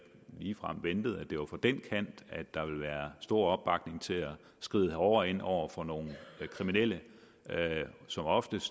ligefrem ventet at det var fra den kant der ville være stor opbakning til at skride hårdere ind over for nogle som oftest